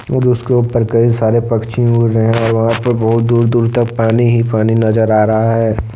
और उसके ऊपर कई सारे पक्षी उड़ रहे हैंवहां पे बहुत दूर दूर तक पानी ही पानी नजर आ रहा है।